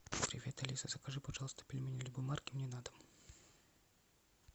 привет алиса закажи пожалуйста пельмени любой марки мне на дом